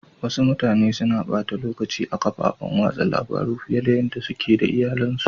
Wassu mutane na bata lokaci a'kafofin wasan labaru fiyar da yada suke da iyallin su.